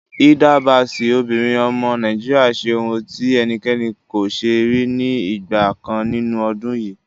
Hilda Baci, obìnrin ọmọ Nàìjíríà ṣe ohun tí ẹnikẹ́ni kò ṣe rí ní ìgbà kan nínú ọdún yìí.